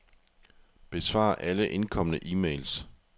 Besvar alle indkomne e-mails.